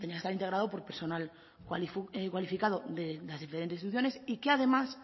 integrado por personal cualificado de las diferentes instituciones y que además